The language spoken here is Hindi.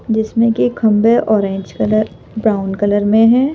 जिसमें कि खंभे ऑरेज कलर ब्राउन कलर में है।